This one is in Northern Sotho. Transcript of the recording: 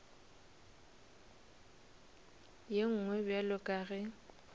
ye nngwe bjalo ka ge